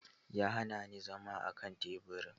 Ya hana ni zama akan teburin.